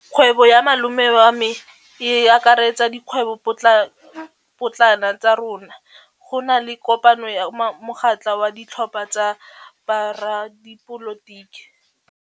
Kgwêbô ya malome wa me e akaretsa dikgwêbôpotlana tsa rona. Go na le kopanô ya mokgatlhô wa ditlhopha tsa boradipolotiki.